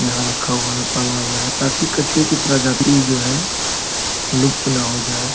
यहाँ रखा हुआ है पाला हुआ है ताकि कछुआ की प्रजाति जो है लुप्त न हो जाये।